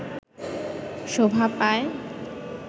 শোভা পায়